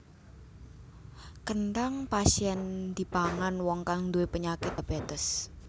Kenthang pas yèn dipangan wong kang nduwé penyakit diabétes